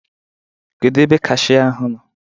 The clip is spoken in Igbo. Kedu ebe kashia ahụ nọ?